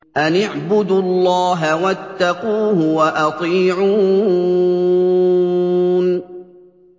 أَنِ اعْبُدُوا اللَّهَ وَاتَّقُوهُ وَأَطِيعُونِ